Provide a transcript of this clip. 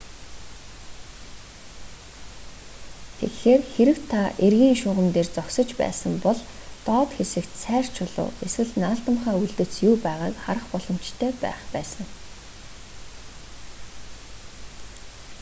тэгэхээр хэрэв та эргийн шугам дээр зогсож байсан бол доод хэсэгт сайр чулуу эсвэл наалдамхай үлдэц юу байгааг харах боломжтой байх байсан